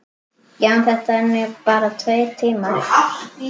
Já, en þetta eru nú bara tveir tímar.